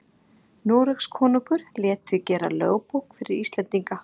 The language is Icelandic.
noregskonungur lét því gera lögbók fyrir íslendinga